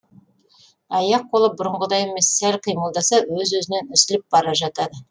аяқ қолы бұрынғыдай емес сәл қимылдаса өз өзінен үзіліп бара жатады